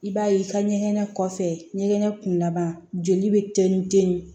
I b'a ye i ka ɲɛgɛn kɔfɛ ɲɛgɛn kun laban joli bɛ tɛni ten